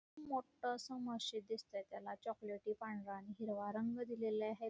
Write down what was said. इथे मोठं असं मशीद दिसतंय त्याला चॉकोलेटी पांढरा हिरवा रंग दिला आहे|